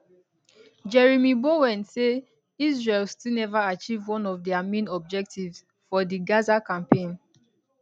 jeremy bowen say israel still neva achieve one of dia main objectives for di gaza campaign